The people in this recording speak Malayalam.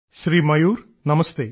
ശ്രീ മയൂർ നമസ്തേ